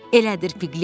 Elədir, Piklət?